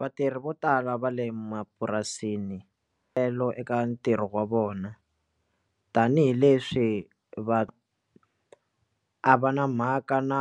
Vatirhi vo tala va le mapurasini telo eka ntirho wa vona tanihileswi va a va na mhaka na